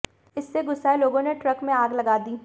इससे गुस्साए लोगों ने ट्रक में आग लगा दी